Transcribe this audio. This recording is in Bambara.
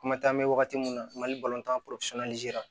Kuma taa mɛn wagati min na mali tan